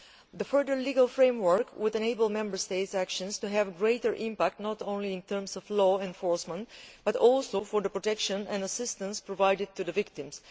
The further legal framework would enable Member States' actions to have a greater impact not only in terms of law enforcement but also for the protection and assistance provided to victims.